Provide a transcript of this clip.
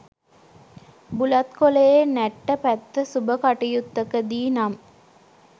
බුලත් කොළයේ නැට්ට පැත්ත සුබ කටයුත්තකදී නම්